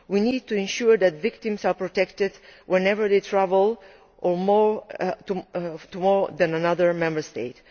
We need to ensure that victims are protected whenever they travel or move to another Member State.